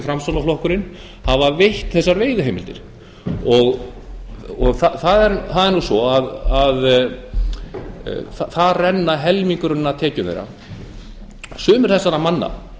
framsóknarflokkurinn hafa veitt þessar veiðiheimildir það er nú svo að þar rennur helmingurinn af tekjum þeirra sumir þessara manna